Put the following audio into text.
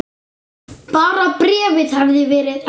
Bara bréfið hefði verið ekta!